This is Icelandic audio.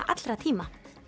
allra tíma